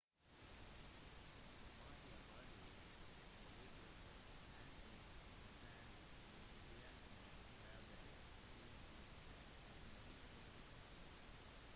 madhya pradesh-politiet hentet den stjelte bærbare pc-en og mobilen